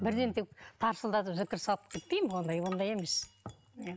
бірден тек тарсылдатып зікір салып кетпеймін ондай ондай емес